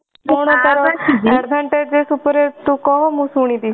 କଣ ତାର advantages ଉପରେ ତୁ କହ ମୁଁ ଶୁଣିବି